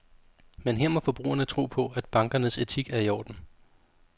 Men her må forbrugerne tro på, at bankernes etik er i orden.